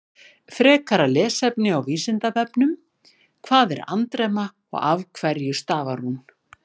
Frekara lesefni á Vísindavefnum: Hvað er andremma og af hverju stafar hún?